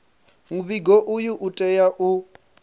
muvhigo uyu u tea u